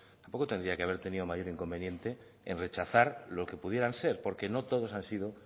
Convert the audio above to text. tampoco tendría que haber tenido mayor inconveniente en rechazar lo que pudieran ser porque no todos han sido